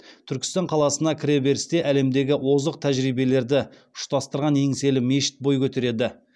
түркістан қаласына кіреберісте әлемдегі озық тәжірибелерді ұштастырған еңселі мешіт бой көтереді